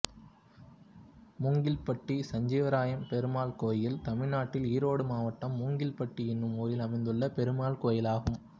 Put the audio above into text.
மூங்கில்பட்டி சஞ்சீவராயப்பெருமாள் கோயில் தமிழ்நாட்டில் ஈரோடு மாவட்டம் மூங்கில்பட்டி என்னும் ஊரில் அமைந்துள்ள பெருமாள் கோயிலாகும்